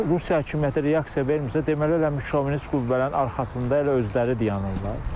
Əgər Rusiya hökuməti reaksiya vermirsə, deməli elə şovinist qüvvələrin arxasında elə özləri dayanırlar.